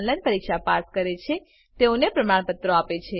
જેઓ ઓનલાઈન પરીક્ષા પાસ કરે છે તેઓને પ્રમાણપત્રો આપે છે